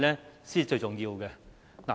這才是最重要。